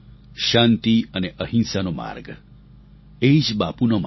શાંતિ અને અહિંસાનો માર્ગ એ જ બાપુનો માર્ગ